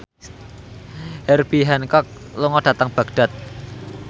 Herbie Hancock lunga dhateng Baghdad